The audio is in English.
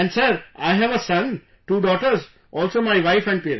And Sir, I have a son, two daughters...also my wife and parents